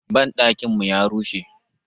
Banɗakin mu ya rushe.